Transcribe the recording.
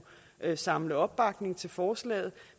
samle opbakning til forslaget